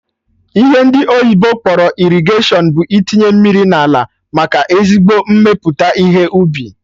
Ihe ndị oyibo kpọrọ irrigation bụ itinye mmiri n'ala, maka ezigbo mmepụta ihe ubi